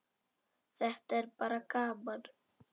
Þetta er bara gaman.